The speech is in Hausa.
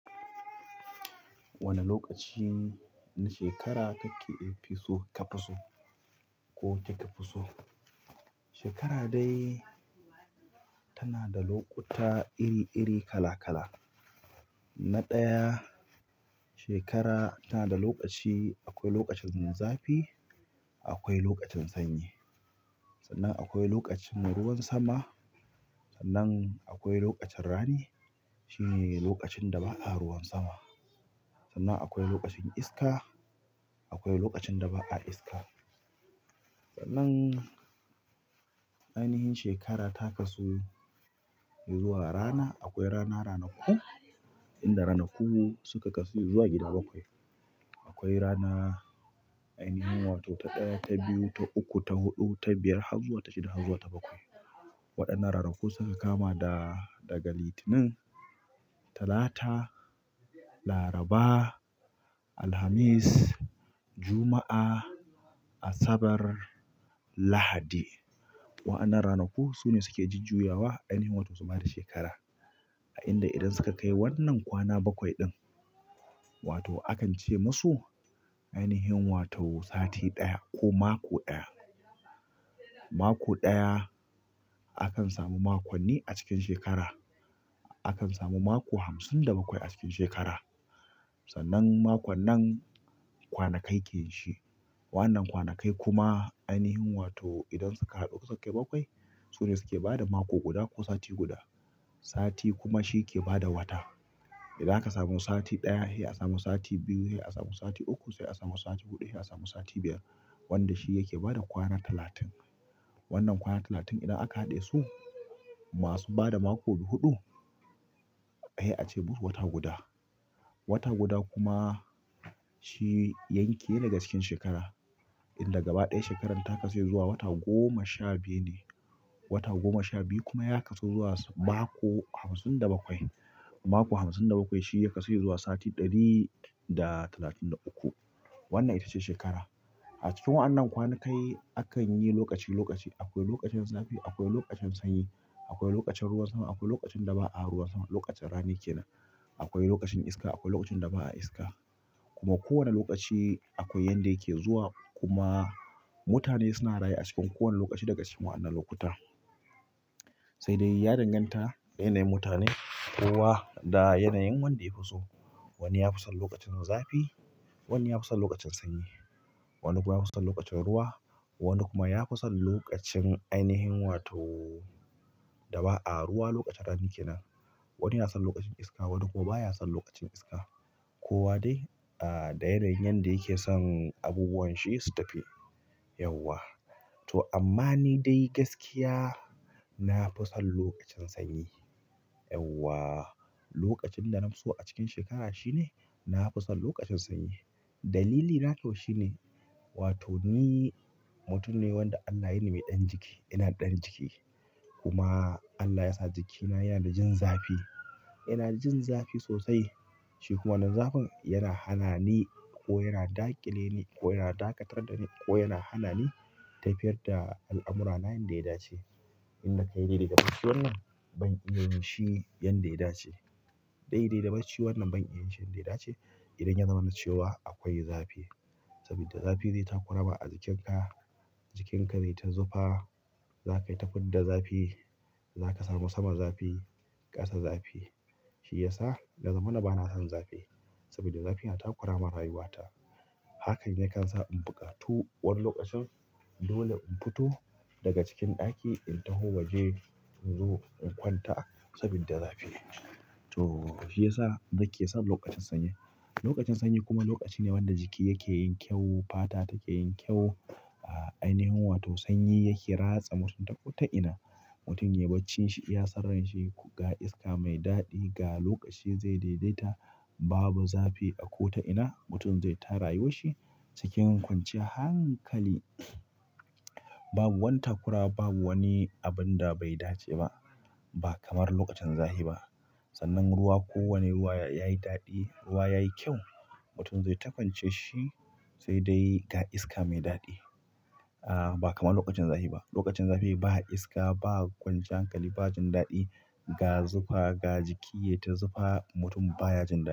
Wane lokaci na shekara kake so ka fi so ko ki ka fi so? Shekara dai tana da lokuta iri-iri kala- kala na ɗaya shekara tana da lokaci. Akwai lokacin zafi, akwai lokacin sanyi sannan akwai lokacin ruwan sama. Sannan akwai lokacin rani. Shi ne lokacin da ba a ruwan sama. Sannan akwai lokacin iska. Akwai lokacin da ba a iska. Sannan ainihin shekara ta kasu zuwa rana. Akwai rana, ranaku, inda ranaku suka kasu zuwa gida bakwai. Akwai ranar ainihin wato ta ɗaya, ta biyu, ta uku, ta huɗu, ta biyar har zuwa ta shida har zuwa ta bakwai. Waɗannan ranaku suka kama da daga Litinin, Talata, Laraba, Alhamis, Juma'a, Asabar, Lahadi. Waɗannan ranaku su ne suke jujjuyawa, ainihin wato su ma da shekara. A inda idan suka kai wannan kwana bakwai ɗin, wato akan ce musu ainihin wato sati ɗaya ko mako ɗaya. Mako ɗaya, akan samu makonni a cikin shekara akan samu mako hamsin da bakwai a cikin shekara. Sannan makon nan kwanakai ke shi. Wannan kwanakai kuma ainihin wato idan suka haɗu suka kai bakwai. Su ne suke ba da mako guda ko sati guda. Sati kuma shi ke ba da wata. Idan aka samu sati ɗaya, sai a samu sati biyu. Sai a samu sati uku. Sai a samu sati huɗu. Sai a samu sati biyar wanda shi yake bada kwana talatin. Wannan kwana talatin idan aka haɗe su masu ba da mako huɗu, sai a ce musu wata guda. Wata guda kuma shi yanki ne daga cikin shekara inda gaba ɗaya shekarar ta kasu zuwa wata goma sha biyu ne. Wata goma sha biyu kuma ya kasu zuwa mako hamsin da bakwai. Mako hamsin da bakwai shi ya kasu zuwa sati ɗari da talatin da uku. Wannan ita ce shekara. A cikin wannan kwanakai akan yi lokaci lokaci. Akwai lokacin zafi, akwai lokacin sanyi, akwai lokacin ruwan sama, akwai lokacin da ba a ruwan sama. Lokacin rani kenan. Akwai lokacin iska, akwai lokacin da ba a iska. Kuma kowane lokaci akwai yanda yake zuwa. Kuma mutane suna raye a cikin kowane lokaci daga cikin wannan lokuta. Sai dai ya danganta da yanayin mutane kowa da yanayin wanda ya fi so. Wani ya fi son lokacin zafi. Wani ya fi son lokacin sanyi. Wani kuma yafi son lokacin ruwa, wani kuma yafi son lokacin ainihin wato da ba'a ruwa lokacin rani kenan. Wani yana son lokacin iska. Wani kuma baya son lokacin iska. Ko wa dai da yanayin yanda yake son abubuwan shi su tafi yauwa. To amma ni dai gaskiya na fi son lokacin sanyi. Yauwa lokacin da na fi so a cikin shekara shine na fi son lokacin sanyi. Dalili na kyau shine wato ni mutum ne wanda Allah yini mai ɗan jiki. Ina da ɗan jiki kuma Allah yasa jikina yana da jin zafi. Yana da jin zafi sosai. Shi kuma wannan zafin yana hana ni ko yana daƙile ni ko yana dakatar da ni ko yana hana ni tafiyar da al'amurana yadda ya dace. Inda ka yarda daga bacci wannan ban iya yin shi yanda ya dace. Daidai da barci wannan ban iya yin shi yadda ya dace. Idan ya zama na cewa akwai zafi. Saboda zafi zai takura ma a jikinka. Jikinka zai ta zufa. Za ka yi ta fidda zafi. Za ka samu samar zafi. Ƙasa zafi. Shi ya sa ya zamana bana son zafi. Saboda zafi yana takura min a rayuwata. Hakan yakan sa in buƙatu wani lokacin dole in fito daga cikin ɗaki in taho waje in zo in kwanta saboda zafi. To shi ya sa nake son lokacin sanyi. Lokacin sanyi kuma lokaci ne wanda jiki yake yin kyau. Fata take yin kyau. Ainihin wato sanyi yake ratsa mutum ta ko ta ina. Mutum ya baccin shi iya san ran shi ga iska mai daɗi ga lokaci zai daidaita. Babu zafi a kota ina. Mutum zai ta rayuwar shi cikin kwanciyar hankali. Babu wani takura. Babu wani abin da bai dace ba ba kamar lokacin zafi ba. Sannan ruwa ko wane ruwa yayi daɗi. Ruwa yayi kyau. Mutum zai ta kwance shi sai dai ga iska mai daɗi. Ba kamar lokacin zafi ba. Lokacin zafi ba iska. Ba kwancian hankali. Ba jin daɗi ga zufa ga jiki ya ta zufa. Mutum baya jin daɗi.